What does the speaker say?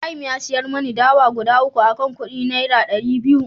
Ibrahim ya siyar mani dawa guda 3 akan kudi naira dari biyu